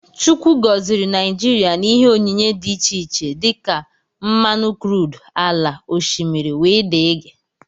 Chukwu goziri Naijiria na ihe onyinyé dị iche iche dika: Mmanụ crudú, ala, oshimiri wdg.